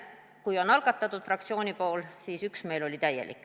Kui oli algatatud fraktsiooni poolt, siis oli üksmeel täielik.